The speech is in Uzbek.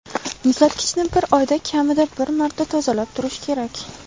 Muzlatgichni bir oyda kamida bir marta tozalab turish kerak.